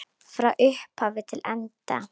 Frá upphafi til enda.